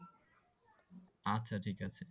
আচ্ছা ঠিক আছে।